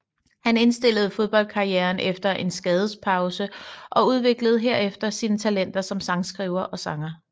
Han indstillede fodboldkarrieren efter en skadespause og udviklede herefter sine talenter som sangskriver og sanger